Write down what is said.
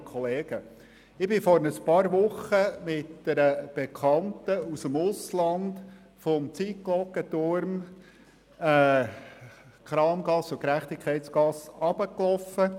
Ich bin vor ein paar Wochen mit einer Bekannten aus dem Ausland durch die Kramgasse und Gerechtigkeitsgasse spaziert.